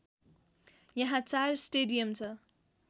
यहाँ चार स्टेडियम छ